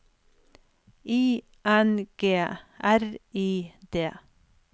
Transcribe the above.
I N G R I D